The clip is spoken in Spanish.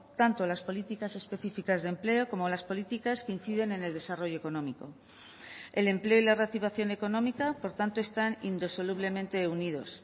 tanto las políticas específicas de empleo como las políticas que inciden en el desarrollo económico el empleo y la reactivación económica por tanto están indisolublemente unidos